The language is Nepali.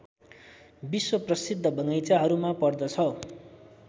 विश्वप्रसिद्ध बगैंचाहरूमा पर्दछ